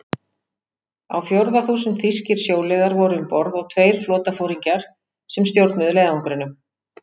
Á fjórða þúsund þýskir sjóliðar voru um borð og tveir flotaforingjar, sem stjórnuðu leiðangrinum.